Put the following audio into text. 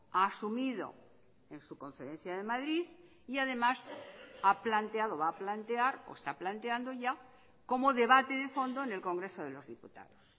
ha asumido en su conferencia de madrid y además ha planteado o va a plantear o está planteando ya como debate de fondo en el congreso de los diputados